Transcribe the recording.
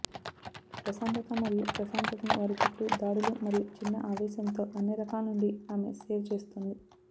ప్రశాంతత మరియు ప్రశాంతతను వారి చుట్టూ దాడులు మరియు చిన్న ఆవేశంతో అన్ని రకాల నుండి ఆమె సేవ్ చేస్తుంది